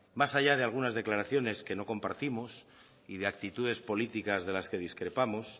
más allá de algunas declaraciones que no compartimos y de actitudes políticas de las que discrepamos